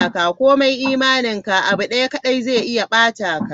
Kome imaninka, abu daya kadai zai iya ba-ta ka.